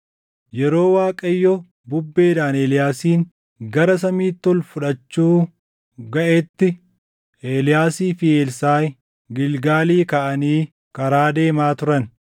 Yeroo Waaqayyo bubbeedhaan Eeliyaasin gara Samiitti ol fudhachuu gaʼetti Eeliyaasii fi Elsaaʼi Gilgaalii kaʼanii karaa deemaa turan.